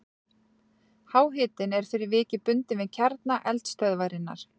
Háhitinn er fyrir vikið bundinn við kjarna eldstöðvarinnar.